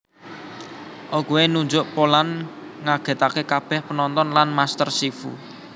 Oogway nunjuk Po lan ngagètaké kabèh penonton lan Master Shifu